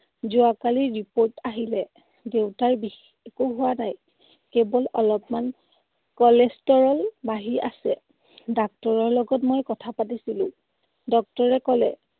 যোৱাকালি report আহিলে। দেউতাৰ বিশেষ একো হোৱা নাই। কেৱল অলপমান cholesterol বাঢ়ি আছে। ডাক্তৰৰ লগত মই কথা পাতিছিলো। Doctor এ কলে